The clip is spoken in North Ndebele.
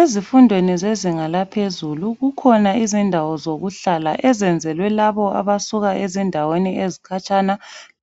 Ezifundweni zezinga laphezulu kukhona izindawo zokuhlala ezenzelwe labo abasuka ezindaweni ezikhatshana,